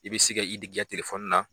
I bɛ se ka k'i ka telefɔni na.